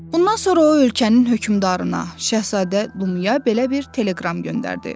Bundan sonra o ölkənin hökmdarına, Şahzadə Lumiyə belə bir teleqram göndərdi.